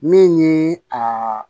Min ye aa